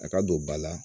A ka don ba la